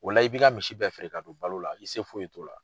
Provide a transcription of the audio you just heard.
O la i b'i ka misi bɛɛ feere k'a don balo la. I se foyi t'o la.